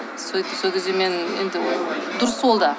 сөйтіп сол кезде мен енді дұрыс ол да